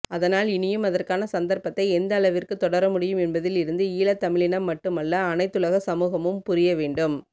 அதனால் இனியும் அதற்கான சந்தற்பத்தை எந்தளவிற்கு தொடர முடியும் என்பதில் இருந்து ஈழத்தமிழினம் மட்டுமல்ல அனைத்துலக சமூகமும் புரிய வேண்டும்